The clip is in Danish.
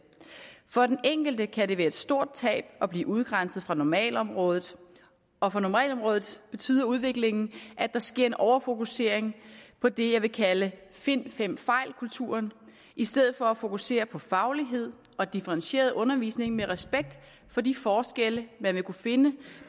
for den enkelte kan det være et stort tab at blive udgrænset fra normalområdet og for normalområdet betyder udviklingen at der sker en overfokusering på det jeg vil kalde find fem fejl kulturen i stedet for at fokusere på faglighed og differentieret undervisning med respekt for de forskelle man vil kunne finde